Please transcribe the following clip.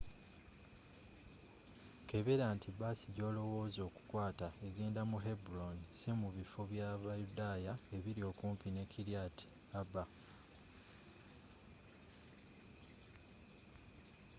kebera nti baasi gy'olowoozako okukwaata egenda mu hebron si mu bifo bya bayudaya ebiri okumpi ne kiryat arba